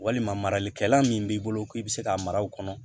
Walima maralikɛla min b'i bolo k'i bɛ se ka mara o kɔnɔ